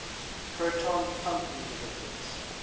proton pump inhibitors